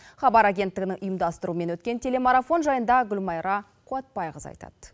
хабар агенттігінің ұйымдастыруымен өткен телемарафон жайында гүлмайра қуатбайқызы айтады